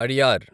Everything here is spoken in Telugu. అడియార్